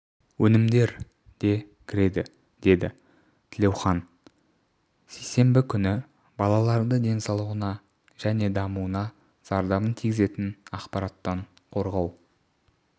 өнімдер де кіреді деді тілеухан сейсенбі күні балаларды денсаулығына және дамуына зардабын тигізетін ақпараттан қорғау